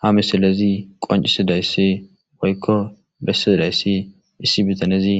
ha misilezi qoncisidayssi woykko bessiidayssi issi bitanezi